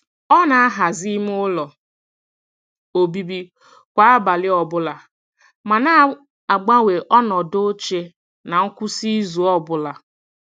Ọ na- ahazi ime ụlọ obibi kwa abalị ọbụla, ma na-agbanwe ọnọdụ oche na nkwụsị izu ọbụla.